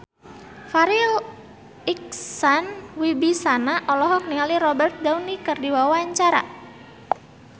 Farri Icksan Wibisana olohok ningali Robert Downey keur diwawancara